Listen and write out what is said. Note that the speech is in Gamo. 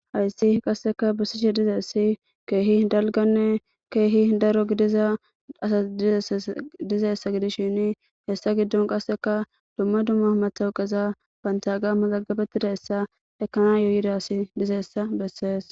Hayssi qasseka bussiche dizassi keehi dalganne keehi daro gidiza asas dizaessa gidishini hessa giddon qasseka dumma dumma matowqeza bantaga mazagabettida essa ekana yuydasi dizeessa bessees.